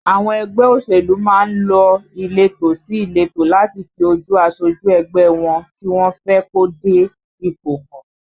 Àwọn ẹgbẹ́ òṣèlú má ń lọ ìletò sí ìletò láti fi ojú asojú ẹgbẹ́ ẹ wọn tí wọ́n fẹ́ kó dé ipò hàn